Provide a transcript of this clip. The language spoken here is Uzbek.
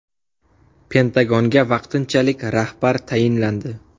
Pentagonga vaqtinchalik rahbar tayinlandi.